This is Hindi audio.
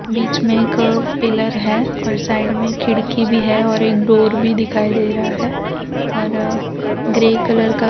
बीच में एक पिलर है और साइड में खिड़की भी है और एक डोर भी दिखाई दे रहा है और ग्रे कलर का --